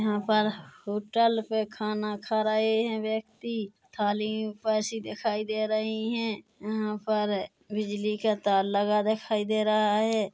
यहाँ पर होटल पे खाना खा रहे है व्यक्ति थाली वैसी दिखाई दे रही है यहाँ पर बिजली का तार लगा दिखाई दे रहा है।